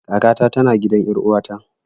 Kaka ta tana gidan ƴar uwata